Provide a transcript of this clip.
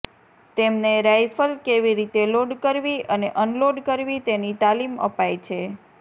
તેમને રાઇફલ કેવી રીતે લોડ કરવી અને અનલોડ કરવી તેની તાલીમ અપાય છે